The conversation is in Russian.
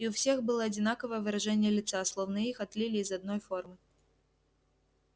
и у всех было одинаковое выражение лица словно их отлили из одной формы